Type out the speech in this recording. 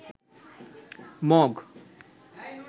mug